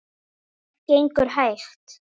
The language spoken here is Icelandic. Það gengur hægt.